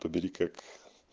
то бери как